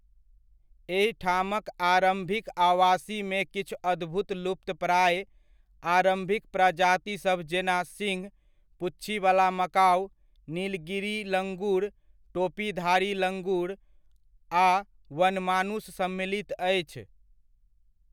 एहिठामक आरम्भिक आवासीमे किछु अद्भुत लुप्तप्राय आरम्भिक प्रजातिसभ जेना सिंह पु्च्छीवला मकाउ, नीलगिरी लङ्गुर, टोपीधारी लङ्गुर आ वनमानुष सम्मिलित अछि।